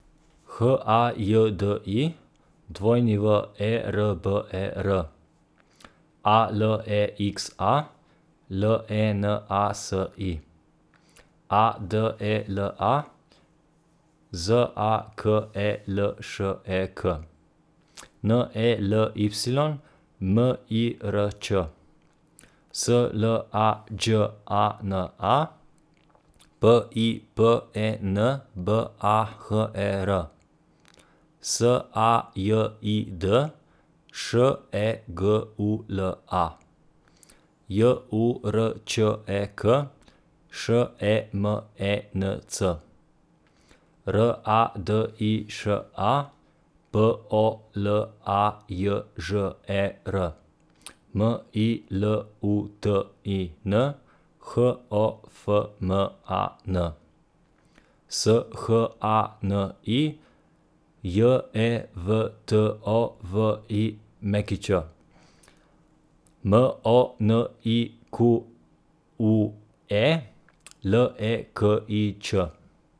H A J D I, W E R B E R; A L E X A, L E N A S I; A D E L A, Z A K E L Š E K; N E L Y, M I R Č; S L A Đ A N A, P I P E N B A H E R; S A J I D, Š E G U L A; J U R Č E K, Š E M E N C; R A D I Š A, P O L A J Ž E R; M I L U T I N, H O F M A N; S H A N I, J E V T O V I Ć; M O N I Q U E, L E K I Č.